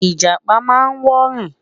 ijapa má n wọ rin